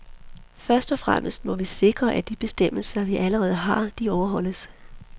Først og fremmest må vi sikre, at de bestemmelser, vi allerede har, overholdes.